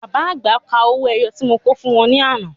Bàbá àgbà kà owó ẹyọ tí mo kò fún wọn ní àná.